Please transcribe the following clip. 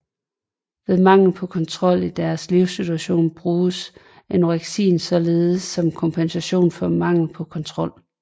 Ved mangel på kontrol i deres livssituation bruges anoreksien således som kompensation for mangel på kontrol